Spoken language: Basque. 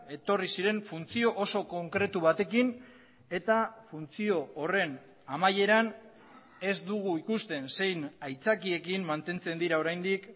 etorri ziren funtzio oso konkretu batekin eta funtzio horren amaieran ez dugu ikusten zein aitzakiekin mantentzen dira oraindik